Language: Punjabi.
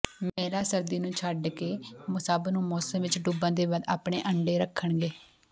ਮਹਿਲਾ ਸਰਦੀ ਨੂੰ ਛੱਡ ਕੇ ਸਭ ਨੂੰ ਮੌਸਮ ਵਿਚ ਡੁੱਬਣ ਦੇ ਬਾਅਦ ਆਪਣੇ ਅੰਡੇ ਰੱਖਣਗੇ